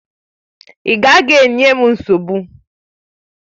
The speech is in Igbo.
Ị gaghị enye m nsogbu!